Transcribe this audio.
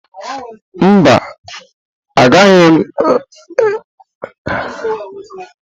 Mba, agaghị m aga emume mmalite ọdịnala echi.